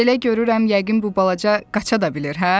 Belə görürəm yəqin bu balaca qaça da bilir, hə?